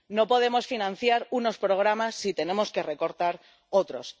no podemos financiar unos programas si tenemos que recortar otros